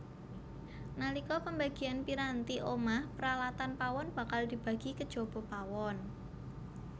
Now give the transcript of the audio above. Nalika pembagian piranti omah peralatan pawon bakal dibagi kejaba pawon